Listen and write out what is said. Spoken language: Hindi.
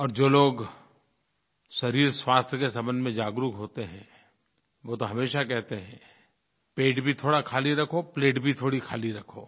और जो लोग शरीर स्वास्थ्य के संबंध में जागरूक होते हैं वो तो हमेशा कहते हैं पेट भी थोड़ा ख़ाली रखो प्लेट भी थोड़ी ख़ाली रखो